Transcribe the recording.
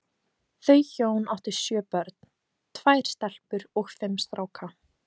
Þau hjón áttu sjö börn, tvær stelpur og fimm stráka.